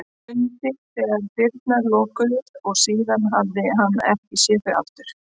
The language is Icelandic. Mundi þegar dyrnar lokuðust og síðan hafði hann ekki séð þau aftur.